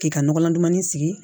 K'i ka nɔgɔlan dumanni sigi